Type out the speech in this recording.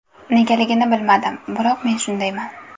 Negaligini bilmadim, biroq men shundayman.